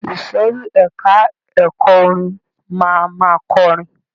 Ìsòrí ẹka ẹ̀kọ́ orin máa ma kọrin.